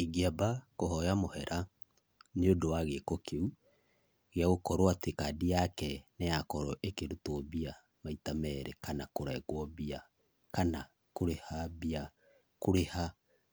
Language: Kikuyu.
Ingĩamba kũhoya mũhera nĩũndũ wa gĩko kĩu, gĩa gũkorwo atĩ kandi yake nĩyakorwo ĩkĩrutwo mbia maita merĩ kana kũrengwo mbia, kana kũrĩha mbia kũrĩha